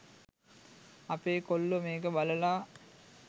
අපේ කොල්ලෝ මේක බලලා